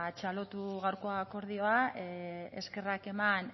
txalotu gaurko akordioa eskerrak eman